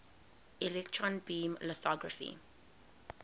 electron beam lithography